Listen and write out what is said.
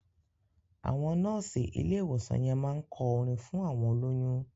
Àwọn nọ́ọ̀sì ilé ìwòsàn yẹn máá ń kọ orin fún àwọn olóyún